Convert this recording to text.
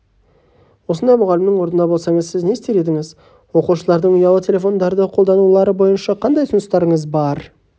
осындай мұғалімнің орнында болсаңыз сіз не істер едіңіз оқушылардың ұялы телефондарды қолданулары бойынша қандай ұсыныстарыңыз бар